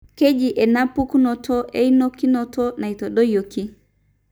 keji enapukunoto eunokinoto naitadoyioki.